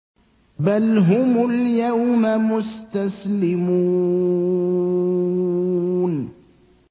بَلْ هُمُ الْيَوْمَ مُسْتَسْلِمُونَ